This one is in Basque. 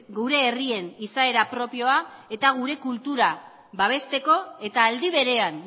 gure herrien izaera propioa eta gure kultura babesteko eta aldi berean